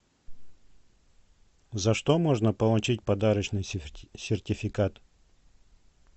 за что можно получить подарочный сертификат